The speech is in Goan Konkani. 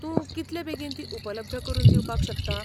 तूं कितलें बेगीन तीं उपलब्द करून दिवपाक शकता?